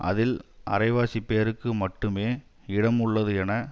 அதில் அரை வாசிப்பேருக்கு மட்டுமே இடம் உள்ளது என